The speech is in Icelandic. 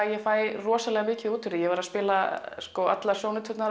ég fæ rosalega mikið út úr því ég var að spila allar